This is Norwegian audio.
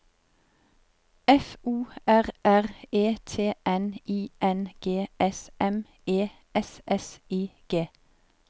F O R R E T N I N G S M E S S I G